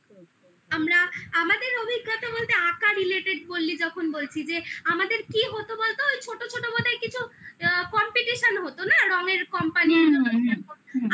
আমরা আমাদের অভিজ্ঞতা বলতে আঁকা related বললি যখন বলছি যে আমাদের কি হতো বলতো ওই ছোট ছোট মতো কিছু competition হতো না রঙের company গুলো আসতো